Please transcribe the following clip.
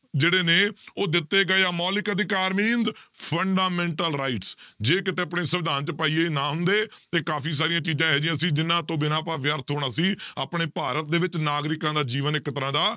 ਜਿਹੜੇ ਨੇ ਉਹ ਦਿੱਤੇ ਗਏ ਮੌਲਿਕ ਅਧਿਕਾਰ means fundamental rights ਜੇ ਕਿਤੇ ਆਪਣੇ ਸੰਵਿਧਾਨ 'ਚ ਭਾਈ ਇਹ ਨਾਮ ਦੇ ਤੇ ਕਾਫ਼ੀ ਸਾਰੀਆਂ ਚੀਜ਼ਾਂ ਇਹੋ ਜਿਹੀਆਂ ਸੀ ਜਿਹਨਾਂ ਤੋਂ ਬਿਨਾਂ ਆਪਾਂ ਵਿਅਰਥ ਹੋਣਾ ਸੀ, ਆਪਣੇ ਭਾਰਤ ਦੇ ਵਿੱਚ ਨਾਗਰਿਕਾਂ ਦਾ ਜੀਵਨ ਇੱਕ ਤਰ੍ਹਾਂ ਦਾ